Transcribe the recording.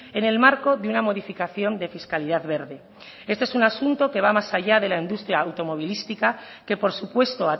en el marco de una modificación de fiscalidad verde este es un asunto que va más allá de la industria automovilística que por supuesto